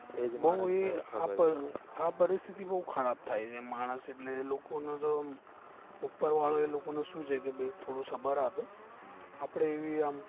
આ પરિસ્થિતિ બૌ ખરાબ થયા છે એમ માણસ એટલે લોકો નો તો ઉપર વાળો અય લોકો ને શું છે કે થોડું સબર આપે આપડે એવી આમ